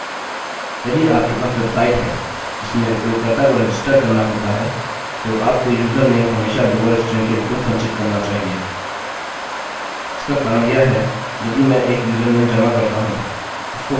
यदि आपके पास वेबसाइट है जिसमें उपयोगकर्ता को रजिस्टर करना होता है तो आपको यूज़र नेम हमेशा लोअर स्ट्रिंग के रूप में संचित करना चाहिए